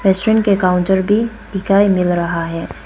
Restaurant के counter भी दिखाई मिल रहा है।